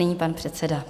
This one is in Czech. Nyní pan předseda.